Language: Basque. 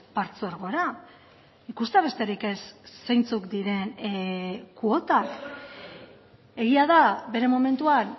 partzuergora ikustea besterik ez zeintzuk diren kuotak egia da bere momentuan